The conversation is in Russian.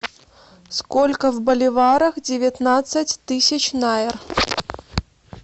сколько в боливарах девятнадцать тысяч найр